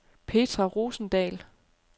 Petra Rosendahl